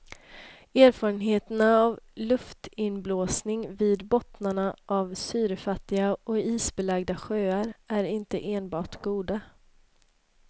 Erfarenheterna av luftinblåsning vid bottnarna av syrefattiga och isbelagda sjöar är inte enbart goda.